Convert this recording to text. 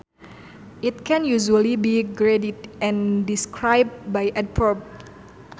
It can usually be graded and described by adverbs